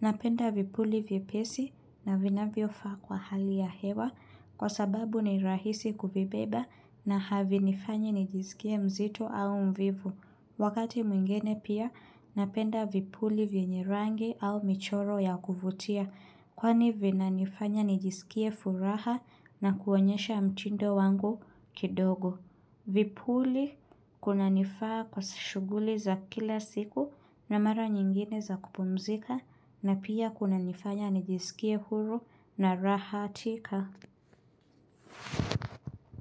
Napenda vipuli vyepesi na vinavyofaa kwa hali ya hewa kwa sababu ni rahisi kuvibeba na havinifanyi nijiskie mzito au mvivu. Wakati mwingine pia napenda vipuli vyenye rangi au michoro ya kuvutia kwani vinanifanya nijisikie furaha na kuonyesha mtindo wangu kidogo. Vipuli kunanifaa kwa shughuli za kila siku na mara nyingine za kupumzika na pia kunanifanya nijisikie huru na rahatika.